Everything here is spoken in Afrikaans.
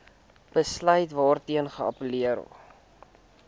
besluit waarteen geappelleer